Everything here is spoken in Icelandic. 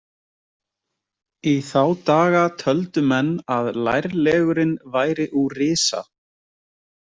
Í þá daga töldu menn að lærlegurinn væri úr risa.